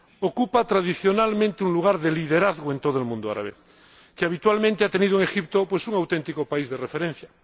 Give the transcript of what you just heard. Ocupa tradicionalmente un lugar de liderazgo en todo el mundo árabe, que habitualmente ha tenido en Egipto un auténtico país de referencia.